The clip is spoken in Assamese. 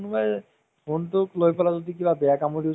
story কিন্তু ভাল আছিলে দে । আজি কালি সেইবোৰ movies পাবলৈ নাই অ।